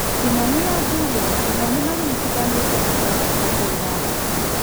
Kĩmani na Julius onao nĩmagiritithanĩtio na kĩrabu kĩa Gor Mahia